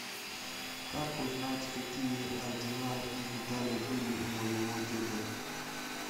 как узнать какие ордена и медали были у моего деда